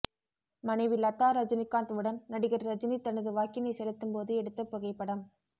மனைவி லதா ரஜினிகாந்த் உடன் நடிகர் ரஜினி தனது வாக்கினை செலுத்தும் போது எடுத்த புகைப்படம்